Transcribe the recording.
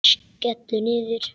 Skellur niður.